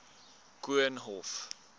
koornhof